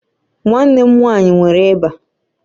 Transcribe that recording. Nwanne m nwanyị nwere ịba